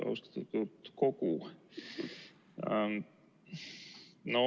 Austatud Riigikogu!